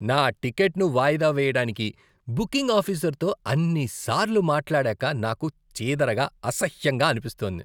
నా టిక్కెట్ను వాయిదా వేయడానికి బుకింగ్ ఆఫీసర్తో అన్నిసార్లు మాట్లాడాక నాకు చీదరగా, అసహ్యంగా అనిపిస్తోంది.